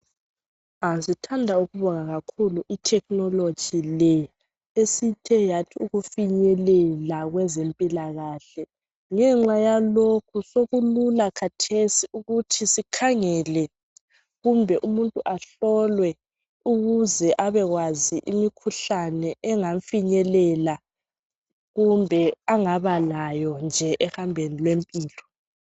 Sithanda ukubonga kakhulu ithekhinoloji le esithe yathi ukufinyelela kwezempilakahle. Ngenxa yalokhu sokulula khathesi ukuthi sikhangele, kumbe umuntu ahlolwe ukuze abekwazi imikhuhlane engamfinyelela, kumbe engabalayo nje ekuhambeni kwempilo.